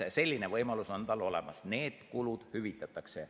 Selline võimalus on tal olemas, need kulud hüvitatakse.